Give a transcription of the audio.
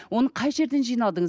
оны қай жерден жинадыңыз